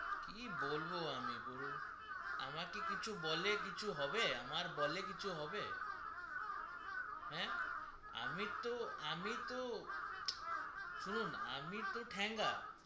কি বলবো আমি বলুন আমাকে কিছু বললে হবে আমাকে বললে কিছু হবে হ্যা আমি তো আমি তো শুনুন আমি তো ঠেঙা